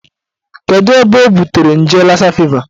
Kedụ ebe o butere nje lassa fever